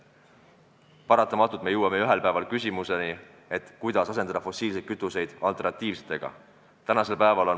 Paratamatult jõuame ju ühel päeval küsimuseni, kuidas asendada fossiilsed kütused alternatiivsetega.